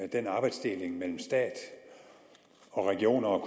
den arbejdsdeling mellem stat og regioner og